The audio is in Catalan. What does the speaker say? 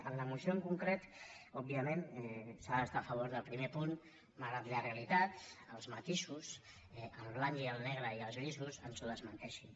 en la moció en concret òbviament s’ha d’estar a favor del primer punt malgrat que la realitat els matisos el blanc i el negre i els grisos ens ho desmenteixin